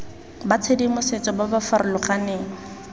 ba tshedimosetso ba ba farologaneng